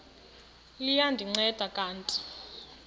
liya ndinceda kanti